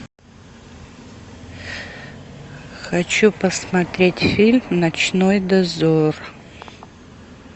хочу посмотреть фильм ночной дозор